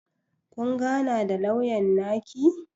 Kun gana da lauyan naki?